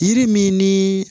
Yiri min ni